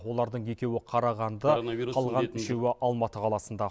олардың екеуі қарағанды қалған үшеуі алматы қаласында